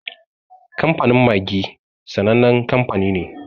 Kamfanin Maggi sanannen kanfani ne.